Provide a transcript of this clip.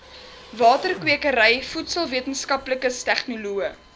waterkwekery voedselwetenskaplikes tegnoloë